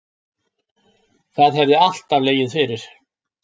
Það hefði alltaf legið fyrir